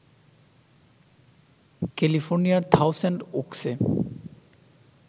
ক্যালিফোর্নিয়ার থাউসেন্ড ওকসে